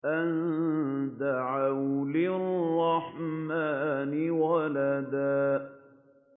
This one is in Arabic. أَن دَعَوْا لِلرَّحْمَٰنِ وَلَدًا